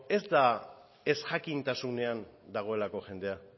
ez da ezjakintasunean dagoelako jendea